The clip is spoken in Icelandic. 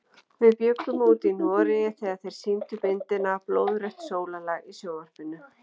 Við bjuggum úti í Noregi þegar þeir sýndu myndina Blóðrautt sólarlag í sjónvarpinu.